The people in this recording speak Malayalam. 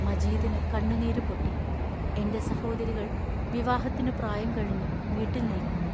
മജീദിനു കണ്ണുനീരു പൊട്ടി എന്റെ സഹോദരികൾ വിവാഹത്തിനു പ്രായം കഴിഞ്ഞു വീട്ടിൽ നിൽക്കുന്നു.